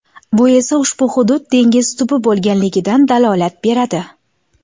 Bu esa ushbu hudud dengiz tubi bo‘lganligidan dalolat beradi.